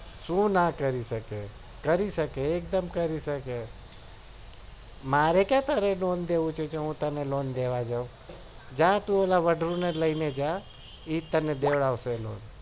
સુ ના કરી શકે કરી શકે એક દમ કરી શકે મારે ક્યાં તારું lone લેવું છે તે મુ તારું lone દેવા જાઉં જા તું ઓલા વદ્રું લઈને જ જા એ જ તને